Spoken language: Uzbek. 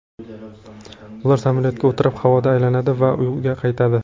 Ular samolyotga o‘tirib havoda aylanadi va uyga qaytadi.